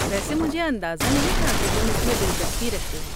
ویسے مجھے اندازہ نہیں تھا کہ تم اس میں دلچسپی رکھتے ہو۔